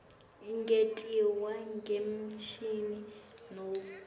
ingentiwa ngemishini nobe